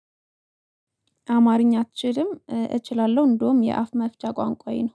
አማርኛ አትችልም? እችላለሁ እንደውም የአፍ መፍቻ ቋንቋዬ ነው